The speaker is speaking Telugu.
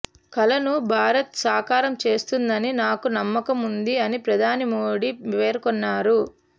కలను భారత్ సాకారం చేస్తుందని నాకు నమ్మకముంది అని ప్రధాని మోడీ పేర్కొన్నారు